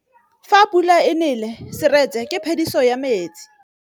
Fa pula e nelê serêtsê ke phêdisô ya metsi.